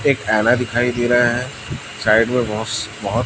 एक ऐना दिखाई दे रहा है साइड में वॉश बहुत--